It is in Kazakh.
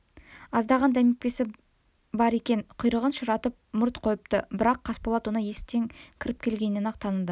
аздаған демікпесі де бар екен құйрығын ширатып мұрт қойыпты бірақ қасболат оны есіктен кіріп келгеннен-ақ таныды